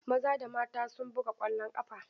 Maza da mata sun buga ƙwallon ƙafa.